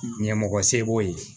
Ɲɛmɔgɔ se b'o ye